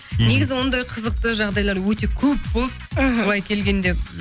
негізі ондай қызықты жағдайлар өте көп болды іхі былай келгенде